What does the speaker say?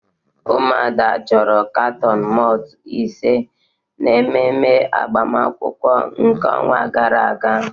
Umuada choro katon malt ise n'ememe agbamakwụkwọ nke onwa gara aga